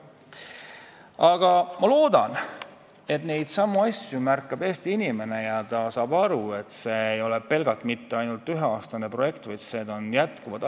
Aga ma loodan, et neidsamu asju märkab Eesti inimene ja saab aru, et see ei ole pelgalt üheaastane projekt, vaid need asjad jätkuvad.